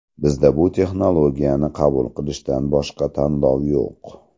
Bizda bu texnologiyani qabul qilishdan boshqa tanlov yo‘q.